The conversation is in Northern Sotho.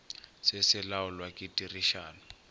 se se laolwa ke tirišano